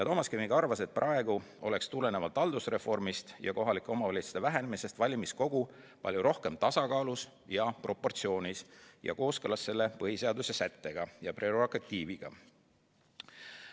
Toomas Kivimägi arvas, et praegu oleks tulenevalt haldusreformist ja kohalike omavalitsuste vähenemisest valimiskogu palju rohkem tasakaalus ja proportsioonis ja kooskõlas selle põhiseaduse sättega ja prerogatiiviga.